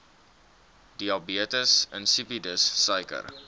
diabetes insipidus suiker